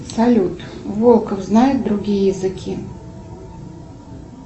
салют волков знает другие языки